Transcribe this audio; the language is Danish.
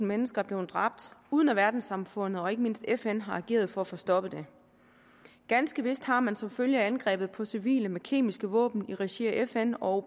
mennesker er blevet dræbt uden at verdenssamfundet og ikke mindst fn har ageret for at få stoppet det ganske vist har man som følge af angrebet på civile med kemiske våben i regi af fn og